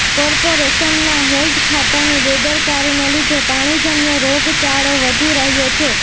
કોર્પોરેશનના હેલ્થ ખાતાની બેદરકારીને લીધે પાણીજન્ય રોગચાળો વધી રહ્યો છે